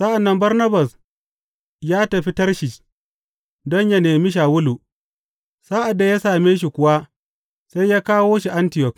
Sa’an nan Barnabas ya tafi Tarshish don yă nemi Shawulu, sa’ad da ya same shi kuwa, sai ya kawo shi Antiyok.